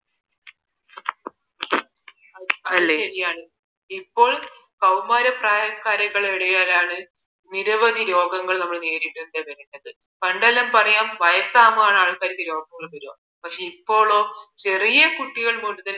ഇപ്പോൾ കൌമാര പ്രായക്കാർക്കിടയിലാണ് നിരവധി രോഗങ്ങൾ നമ്മൾ നേരിടേണ്ടി വരുന്നത് പണ്ടെല്ലാം പറയാ വയസ്സാകുമ്പോഴാണ് ആൾക്കാർക്ക് രോഗം വരുവാ പക്ഷേ ഇപ്പോളോ ചെറിയ കുട്ടികൾ